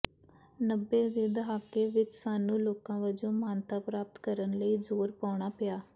ਨੱਬੇ ਦੇ ਦਹਾਕੇ ਵਿਚ ਸਾਨੂੰ ਲੋਕਾਂ ਵਜੋਂ ਮਾਨਤਾ ਪ੍ਰਾਪਤ ਕਰਨ ਲਈ ਜ਼ੋਰ ਪਾਉਣਾ ਪਿਆ